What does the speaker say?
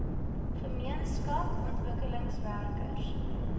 gemeenskap ontwikkelingswerkers